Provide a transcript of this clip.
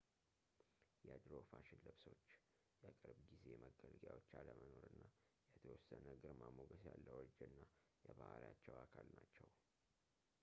የድሮ ፋሽን ልብሶች የቅርብ ጊዜ መገልገያዎች አለመኖር እና የተወሰነ ግርማሞገስ ያለው እርጅና የባሕሪያቸው አካል ናቸው